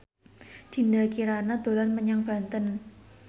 Dinda Kirana dolan menyang Banten